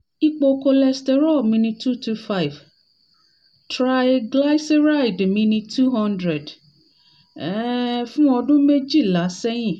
ipo cholesterol mi ni two two five triglyceride mi ni two hundred um for ọdún méjìlá sẹ́yìn